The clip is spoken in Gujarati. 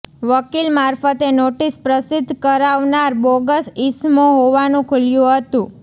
વકીલ મારફતે નોટીસ પ્રસિદ્ધ કરાવનાર બોગસ ઇસમો હોવાનું ખૂલ્યું હતું